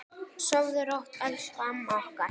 Sofðu rótt, elsku amma okkar.